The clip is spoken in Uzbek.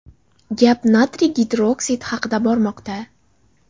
Gap natriy gidroksidi haqida bormoqda.